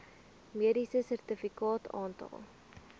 mediese sertifikaat aantal